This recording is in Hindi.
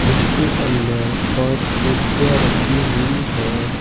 इसके अंदर पांच कुर्सियां रखी हुई हैं।